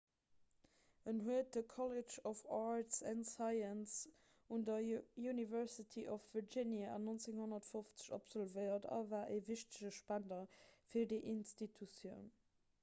en huet de college of arts & sciences un der university of virginia 1950 absolvéiert a war e wichtege spender fir déi institutioun